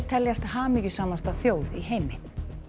teljast hamingjusamasta þjóð í heimi